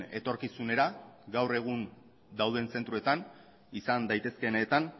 etorkizunera gaur egun dauden zentroetan izan daitezkeenetan